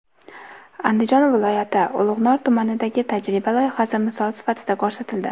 Andijon viloyati Ulug‘nor tumanidagi tajriba loyihasi misol sifatida ko‘rsatildi.